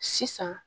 Sisan